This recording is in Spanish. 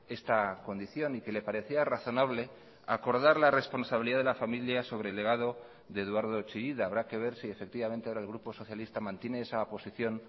esta condición y que le parecía razonable acordar la responsabilidad de la familia sobre el legado de eduardo chillida habrá que ver si efectivamente ahora el grupo socialista mantiene esa posición